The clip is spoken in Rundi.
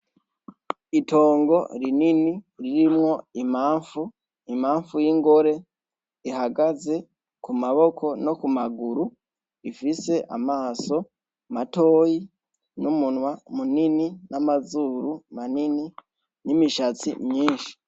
Itongo rinini ririmwo imamfu ,imamfu y'ingore ihagaze ku maboko no ku maguru ifise amaso matoyi n'umunwa munini n'amazuru manini n'imishatsi myinshi.